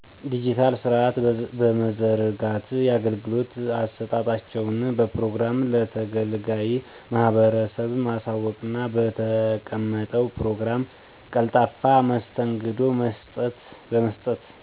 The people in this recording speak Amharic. ድጅታል ስርአት በመዘርጋት የአገልግሎት አሰጣጣቸውን በፕሮግራም ለተገልጋዩ ማህበረሰብ ማሳወቅና በተቀመጠው ፕሮግራም ቀልጣፋ መስተንግዶ በመስጠት።